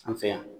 An fɛ yan